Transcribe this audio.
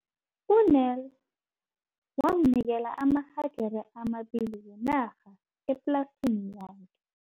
U-Nel wamnikela amahagere amabili wenarha eplasini yakhe.